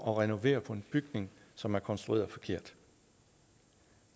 at renovere på en bygning som er konstrueret forkert